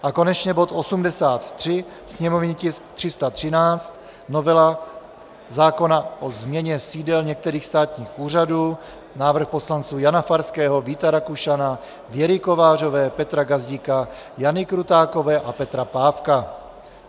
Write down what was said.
A konečně bod 83, sněmovní tisk 313, novela zákona o změně sídel některých státních úřadů, návrh poslanců Jana Farského, Víta Rakušana, Věry Kovářové, Petra Gazdíka, Jany Krutákové a Petra Pávka.